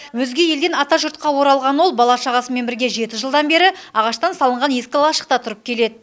өзге елден атажұртқа оралған ол бала шағасымен бірге жеті жылдан бері ағаштан салынған ескі лашықта тұрып келеді